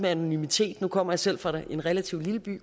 anonymiteten nu kommer jeg selv fra en relativt lille by